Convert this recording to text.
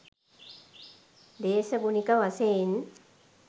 දේශගුණික වශයෙන්